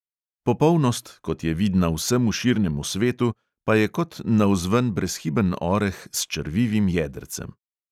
Popolnost, kot je vidna vsemu širnemu svetu, pa je kot navzven brezhiben oreh s črvivim jedrcem.